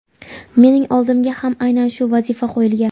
Mening oldimga ham aynan shu vazifa qo‘yilgan.